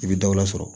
I bɛ dɔ wɛrɛ sɔrɔ